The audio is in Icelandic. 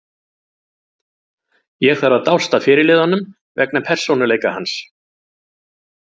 Ég þarf að dást að fyrirliðanum vegna persónuleika hans.